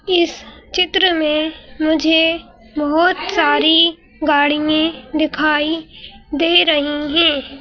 इस चित्र में मुझे बहुत सारी गाड़ियांए दिखाई दे रही हैं।